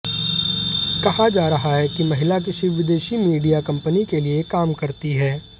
कहा जा रहा है कि महिला किसी विदेशी मीडिया कंपनी के लिए काम करती है